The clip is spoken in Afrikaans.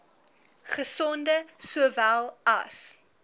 gesonde sowel as